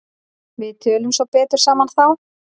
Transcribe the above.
Við tölum svo betur saman þá.